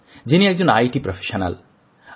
যিনি একজন তথ্যপ্রযুক্তি ক্ষেত্রে কর্মরত